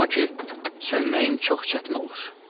Amma ki, sönməyim çox çətin olur.